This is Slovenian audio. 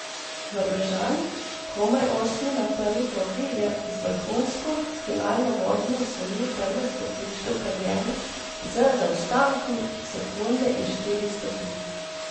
Norvežan, komaj osmi na prvi progi, je z vrhunsko finalno vožnjo osvojil prve stopničke v karieri z zaostankom sekunde in štirih stotink.